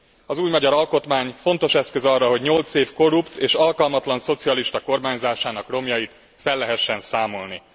Az új magyar alkotmány fontos eszköz arra, hogy nyolc év korrupt és alkalmatlan szocialista kormányzásának romjait fel lehessen számolni.